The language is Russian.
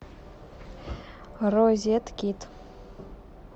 розеткид